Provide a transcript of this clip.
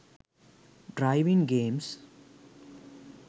driving games